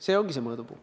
See ongi see mõõdupuu.